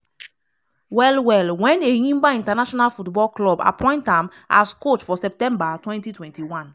well well wen enyimba international football club appoint am as coach for september 2021.